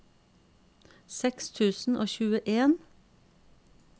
seks tusen og tjueen